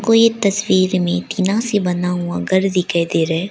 कोई एक तस्वीर में टीना से बना हुआ घर दिखाई दे रहा है।